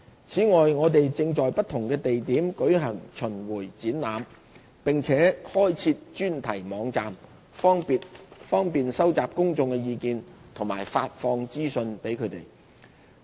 此外，我們正在不同地點舉行巡迴展覽，並開設專題網站，方便收集公眾意見和向公眾發放資訊。